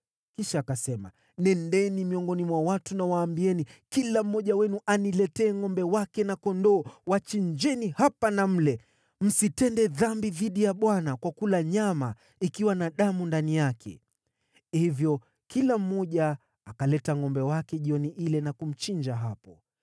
Kisha Sauli akasema, “Nendeni miongoni mwa watu, mwaambie, ‘Kila mmoja wenu aniletee ngʼombe wake na kondoo, mwachinjie hapa na mle. Msitende dhambi dhidi ya Bwana kwa kula nyama ikiwa na damu ndani yake.’ ” Hivyo kila mmoja akaleta ngʼombe wake jioni ile na kumchinja hapo.